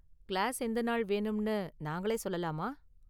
Class எந்த நாள் வேணும்னு நாங்களே சொல்லலாமா?